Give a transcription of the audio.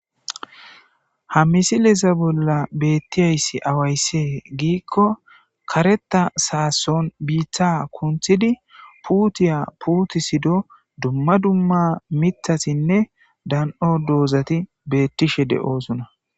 Ha misilesa bolla beettiyayssi awayse giikko kareta saason biiththa kunthidi puutiya puuti sido dumma dumma mithasinne dan'o doozati betishe de'sona.